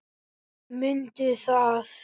Mundu það.